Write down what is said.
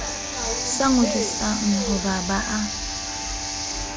sa ngodisang ha ba a